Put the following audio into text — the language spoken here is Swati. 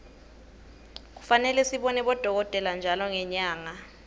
kufane sibone bodolkotela ntjalo ngenyarge